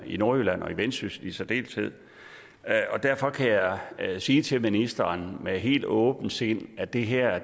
i nordjylland og i vendsyssel i særdeleshed derfor kan jeg sige til ministeren med helt åbent sind at det her